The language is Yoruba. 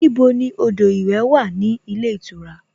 Níbo ni odò ìwẹ̀ wà ní ilé ìtura?